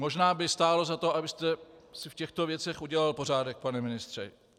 Možná by stálo za to, abyste si v těchto věcech udělal pořádek, pane ministře.